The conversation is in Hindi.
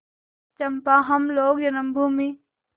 चंपा हम लोग जन्मभूमि